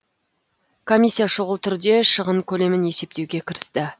комиссия шұғыл түрде шығын көлемін есептеуге кірісті